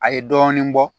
A ye dɔɔnin bɔ